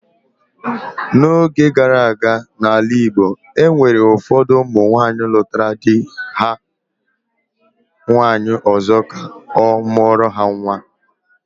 N'oge gara aga, n'ala Igbo, e nwere ụfọdụ ụmụ nwaanyị lụtara di ha nwaanyị ọzọ ka ọ mụọrọ ha nwa